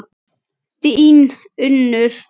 Þín Unnur.